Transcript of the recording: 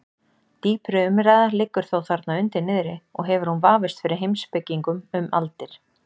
Dýpri umræða liggur þó þarna undir niðri og hefur hún vafist fyrir heimspekingum um aldir.